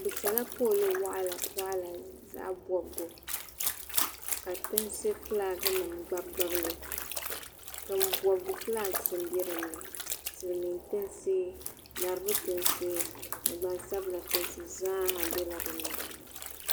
Bɛ sala pooli waɣala waɣala di zaɣa bobgu ka tiŋsi gilaagi nima gnanigbili tiŋbobigu gilaagi m be dinni Silimiin tiŋsi laribu tiŋsi ni gbansabla tiŋsi zaa ha biɛla dinni.